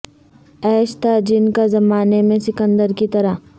عیش تھا جن کا زمانے میں سکندر کی طرح